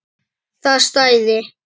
Það stæði.